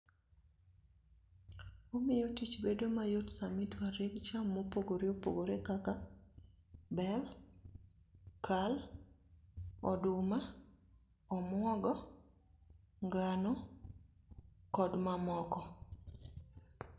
omiyo tich bedo mayot sami dwa reg cham mopogore opogore kaka bel, kal, oduma, omuogo, ngano, kod mamoko.